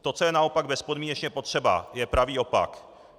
To, co je naopak bezpodmínečně potřeba, je pravý opak.